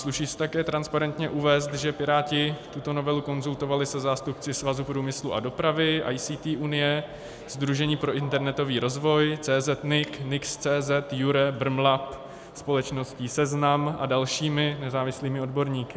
Sluší se také transparentně uvést, že Piráti tuto novelu konzultovali se zástupci Svazu průmyslu a dopravy, ICT unie, Sdružení pro internetový rozvoj, CZ.NIC, NIX.cz, IuRe, Brmlab, společnosti Seznam a dalšími nezávislými odborníky.